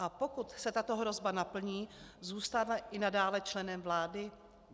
A pokud se tato hrozba naplní, zůstane i nadále členem vlády?